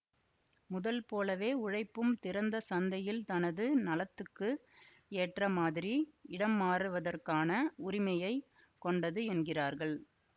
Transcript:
முதல் போலவே உழைப்பும் திறந்த சந்தையில் தனது நலத்துக்கு ஏற்ற மாதிரி இடம்மாறுவதற்கான உரிமையை கொண்டது என்கிறார்கள்